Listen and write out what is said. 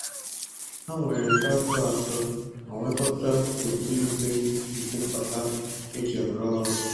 Ha nwere traktọ atọ ma nkwekọta otu ìgwè mkpokọta e ji arụ ọrụ.